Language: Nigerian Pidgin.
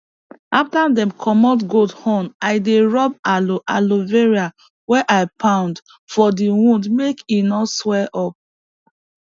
after dem commot goat horn i dey rub aloe aloe vera wey i pound for di wound make e no sweel up